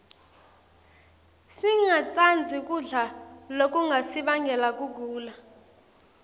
singatsandzi kudla lokungasibangela kugula